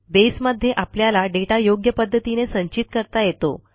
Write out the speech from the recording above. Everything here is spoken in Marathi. बसे मध्ये आपल्याला दाता योग्य पध्दतीने संचित करता येतो